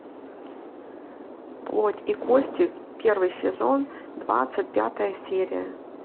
плоть и кости первый сезон двадцать пятая серия